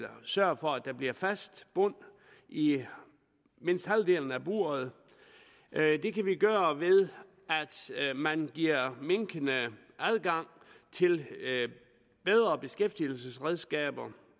sørger for at der bliver fast bund i i mindst halvdelen af buret det kan vi gøre ved at man giver minkene adgang til bedre beskæftigelsesredskaber